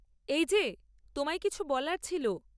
এই যে, তোমায় কিছু বলার ছিল।